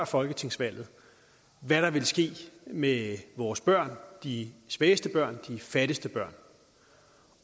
folketingsvalget hvad der ville ske med vores børn de svageste børn de fattigste børn